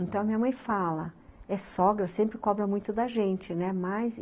Então, a minha mãe fala, é sogra, sempre cobra muito da gente, né?, mas